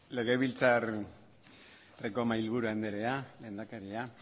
legebiltzarreko mahaiburu andrea lehendakaria